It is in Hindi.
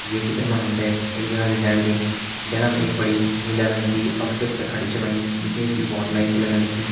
ये चित्र मा हम त एक जगह दिखेण लगीं जख मा एक बड़ी नीला रंग की ऑटो रिक्शा खड़ी छ होयीं दिखेण से बहोत नयी लगण लगीं।